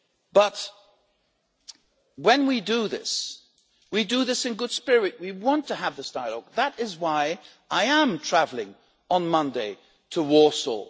But when we do this, we do this in good faith. We want to have this dialogue that is why I am travelling on Monday to Warsaw.